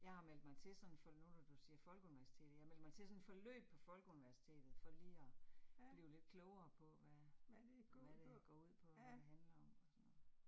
Jeg har meldt mig til sådan for nu, når du siger Folkeuniversitetet. Jeg har meldt mig til sådan et forløb på Folkeuniversitetet for lige at blive lidt klogere på hvad, hvad det går ud på, hvad det handler om og sådan noget